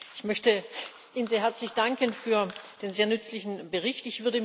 Ich möchte Ihnen sehr herzlich danken für den sehr nützlichen Bericht.